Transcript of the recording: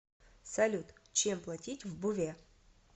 салют чем платить в буве